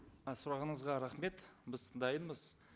і сұрағыңызға рахмет біз дайынбыз